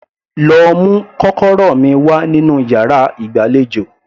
Lọ mú kọ́kọ́rọ́ mi wá nínú yàrá ìgbàlejò